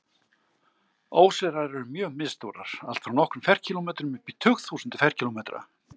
Óseyrar eru mjög misstórar, allt frá nokkrum ferkílómetrum upp í tugþúsundir ferkílómetra.